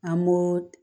An b'o